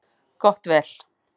Gott vel.